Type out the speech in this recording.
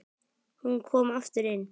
Hún kom aftur inn